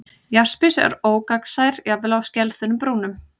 Jaspis er ógagnsær, jafnvel á skelþunnum brúnum.